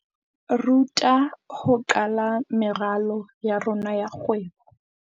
Ruta ho qala meralo ya rona ya kgwebo.